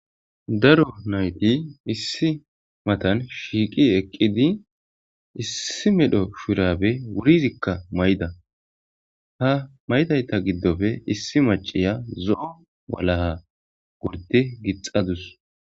Darro naytti issi bolla shiqqi eqiddi bettosonna etikka issi mala shurabbe mayidi eqidda ha mayzzayssa gidoppe issi nayiya zo7o mayo mayadda daws.